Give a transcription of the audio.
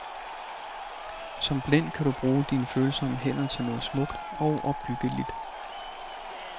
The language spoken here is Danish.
Som blind kan du bruge dine følsomme hænder til noget smukt og opbyggeligt.